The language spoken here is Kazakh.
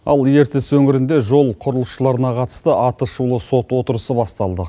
ал ертіс өңірінде жол құрылысшыларына қатысты аты шулы сот отырысы басталды